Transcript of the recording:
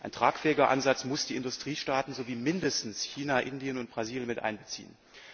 Ein tragfähiger Ansatz muss die Industriestaaten sowie mindestens China, Indien und Brasilien einbeziehen.